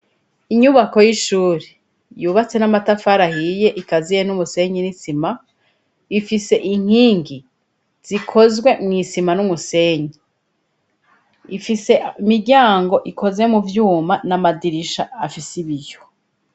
Inyubako y'ishuri, yubatse n'amatafari ahiye ikaziye n'umusenyi n'isima, ifise inkingi zikozwe mw'isima n'umusenyi. Ifise imiryango ikoze mu vyuma n'amadirisha afise ibiyo.